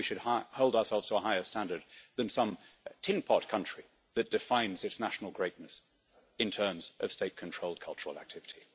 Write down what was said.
Surely we should hold ourselves to a higher standard than some tin pot country that defines its national greatness in terms of state controlled cultural activity?